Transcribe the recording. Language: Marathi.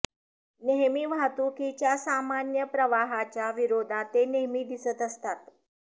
नेहमी वाहतुकीच्या सामान्य प्रवाहाच्या विरोधात ते नेहमी दिसत असतात